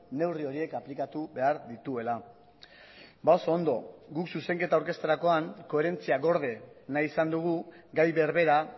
neurri horiek aplikatu behar dituela oso ondo guk zuzenketa aurkezterakoan koherentzia gorde nahi izan dugu gai berbera